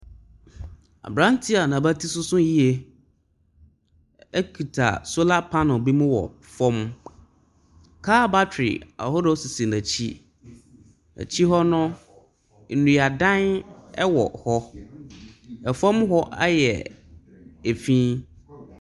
Aberanteɛ a n'abati sosso yie kita solar panel bu mu wɔfam. Car battery ahodoɔ sisi n'akyi. Akyire hɔ no, nnuadan wɔ hɔ. Fam hɔ ayɛ fi.